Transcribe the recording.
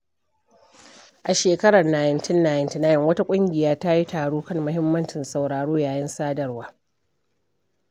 A shekarar 1999, wata ƙungiya ta yi taro kan muhimmancin sauraro yayin sadarwa.